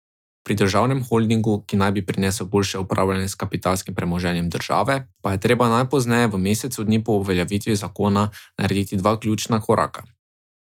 Pri državnem holdingu, ki naj bi prinesel boljše upravljanje s kapitalskim premoženjem države, pa je treba najpozneje v mesecu dni po uveljavitvi zakona narediti dva ključna koraka.